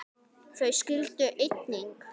Þau skildu einnig.